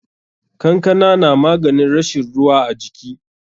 Kankana na maganin rashin ruwa a jiki.